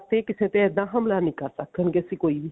ਤੇ ਕਿਸੇ ਤੇ ਇੱਦਾਂ ਹਮਲਾ ਨਹੀਂ ਕਰ ਸਕਦਾ ਸੀ ਕੋਈ ਵੀ